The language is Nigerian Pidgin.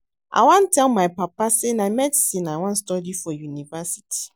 I wan tell my papa say na medicine I wan study for university